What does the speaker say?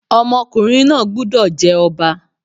Ọmọkùnrin náà gbúdọ̀ jẹ́ Ọba.